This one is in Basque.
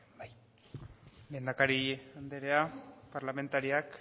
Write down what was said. zurea da hitza lehendakari anderea parlamentariak